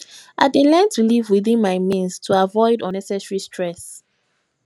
i dey learn to live within my means to avoid unnecessary stress